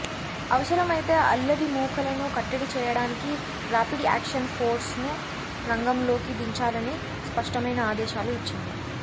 అవసరమైతే అల్లరిమూకలను కట్టడి చేయడానికి రాపిడ్ యాక్షన్ ఫోర్స్ను రంగంలోకి దించాలని స్పష్టమైన ఆదేశాలు ఇచ్చింది